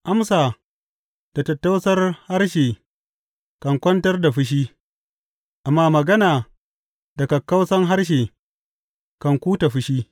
Amsa da tattausar harshe kan kwantar da fushi, amma magana da kakkausan harshe kan kuta fushi.